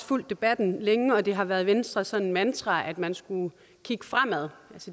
fulgt debatten længe og det har været venstres sådan mantra at man skulle kigge fremad